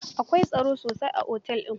Akawai tsaro sosai a otel din.